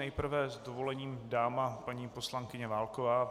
Nejprve s dovolením dáma, paní poslankyně Válková.